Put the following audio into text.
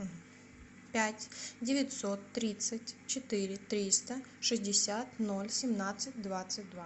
пять девятьсот тридцать четыре триста шестьдесят ноль семнадцать двадцать два